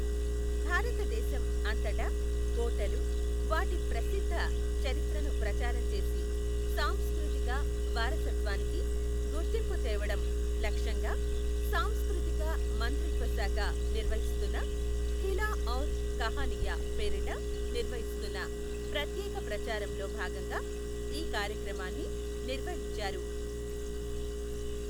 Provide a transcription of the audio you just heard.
భారతదేశం అంతటా కోటలు, వాటి ప్రసిద్ధ చరిత్రను ప్రచారం చేసి సాంస్కృతిక వారసత్వానికి గుర్తింపు తేవడం లక్ష్యంగా సాంస్కృతిక మంత్రిత్వ శాఖ నిర్వహిస్తున్న ఖిలా ఔర్ కహనియా పేరిట నిర్వహిస్తున్న ప్రత్యేక ప్రచారంలో భాగంగా ఈ కార్యక్రమాన్ని నిర్వహించారు.